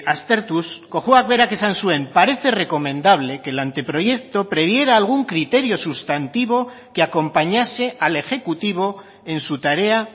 aztertuz cojuak berak esan zuen parece recomendable que el anteproyecto previera algún criterio sustantivo que acompañase al ejecutivo en su tarea